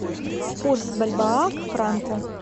курс бальбоа к франку